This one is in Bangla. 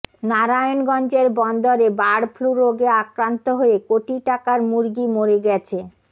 নারায়ণগঞ্জের বন্দরে বার্ড ফ্লু রোগে আক্রান্ত হয়ে কোটি টাকার মুরগি মরে গেছ